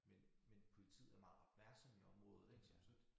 Men men politiet er meget opmærksomme i området ik så så